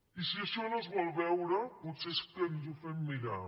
i si això no es vol veure potser que ens ho fem mirar